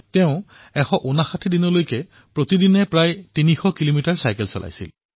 তেওঁ ১৫৯ দিনলৈ নিৰন্তৰভাৱে প্ৰতিদিনে প্ৰায় ৩০০ কিলোমিটাৰ চাইকেল চলাইছিল